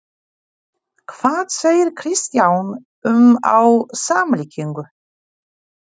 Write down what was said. Hvað segir Kristján um á samlíkingu?